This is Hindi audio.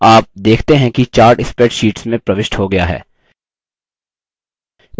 आप देखते हैं कि chart spreadsheet में प्रविष्ट हो गया है